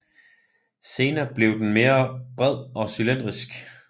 Senere bliver den mere bred og cylindrisk